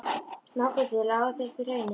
Smágötur lágu þó upp í hraunið.